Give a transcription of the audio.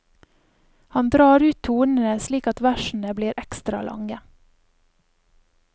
Han drar ut tonene slik at versene blir ekstra lange.